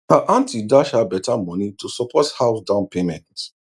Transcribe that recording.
her aunty dash her better money to support house down payment